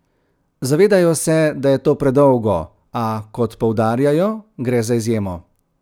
Zavedajo se, da je to predolgo, a, kot poudarjajo, gre za izjemo.